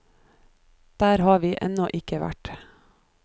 Der har vi ennå ikke vært.